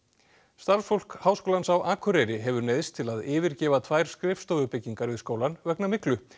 starfsfólk Háskólans á Akureyri hefur neyðst til að yfirgefa tvær skrifstofubyggingar við skólann vegna myglu